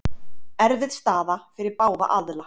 Erfið staða fyrir báða aðila.